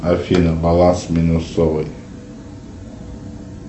афина баланс минусовый